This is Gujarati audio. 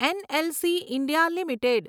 NLC India limited